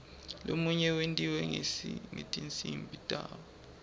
lomunye wentiwa ngetinsimbi tawo